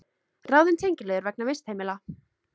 Ráðin tengiliður vegna vistheimila